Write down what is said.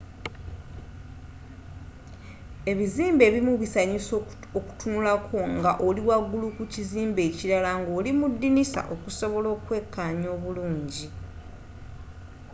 ebizimbe ebimu bisanyusa okutunulako nga oli wagulu ku kizimbe ekilala nga olimudinisa okusobola okwekanya obulungi